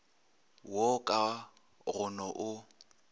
wo ka go no o